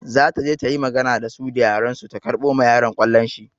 Za ta je ta yi magana da su da yaren su ta karɓo ma yaron ƙwallon shi.